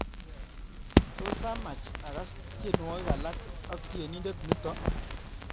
Tos amach agaas tyenwogik alak ak tyenindet nito